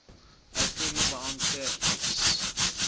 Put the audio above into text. uitvoerende beampte ex